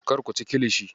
Kar ku ci kilishi.